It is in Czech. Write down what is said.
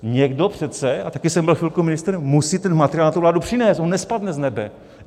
Někdo přece, a taky jsem byl chvilku ministr, musí ten materiál na tu vládu přinést, on nespadne z nebe.